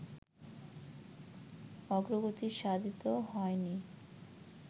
অগ্রগতি সাধিত হয়নি